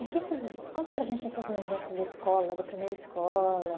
E conta para a gente essas lembranças da escola, da primeira escola.